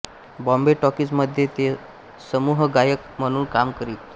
Bombay Talkies मध्ये ते समूहगायक म्हणून काम करीत